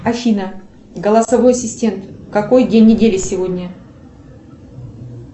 афина голосовой ассистент какой день недели сегодня